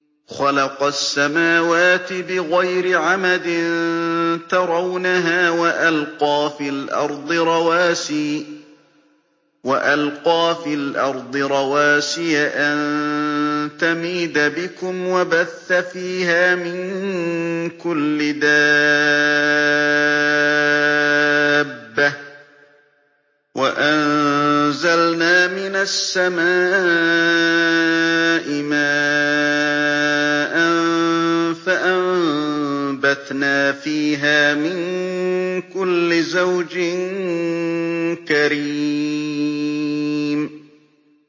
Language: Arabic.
خَلَقَ السَّمَاوَاتِ بِغَيْرِ عَمَدٍ تَرَوْنَهَا ۖ وَأَلْقَىٰ فِي الْأَرْضِ رَوَاسِيَ أَن تَمِيدَ بِكُمْ وَبَثَّ فِيهَا مِن كُلِّ دَابَّةٍ ۚ وَأَنزَلْنَا مِنَ السَّمَاءِ مَاءً فَأَنبَتْنَا فِيهَا مِن كُلِّ زَوْجٍ كَرِيمٍ